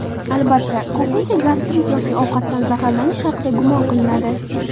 Albatta, ko‘pincha gastrit yoki ovqatdan zaharlanish haqida gumon qilinadi.